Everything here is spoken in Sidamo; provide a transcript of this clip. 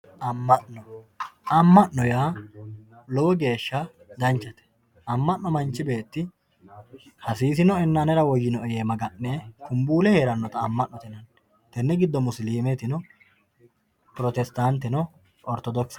Ama'no, ama'no yaa lowo geesha danchate, ama'no manchi beeti hasisinoenna anera woyinoe yee maga'ne kuumbuule heeranota ama'note yinanni, tene gido musilimetinno protesitantenita oritodokiseno